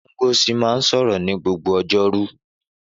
Ngozi máa ń sọ̀rọ̀ ní gbogbo ọjọ́rú.